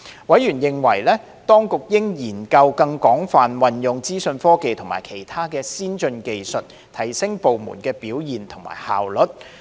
委員認為，當局應研究更廣泛運用資訊科技及其他先進技術，提升部門表現及效率。